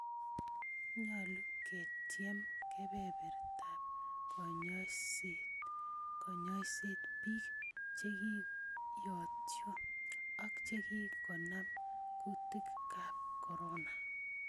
Nyolu kotyieem kebebrtab konyoiset biik chegiyotuyo ak chekikonam kutikab corona